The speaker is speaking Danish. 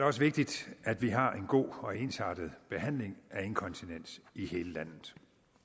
også vigtigt at vi har en god og ensartet behandling af inkontinens i hele landet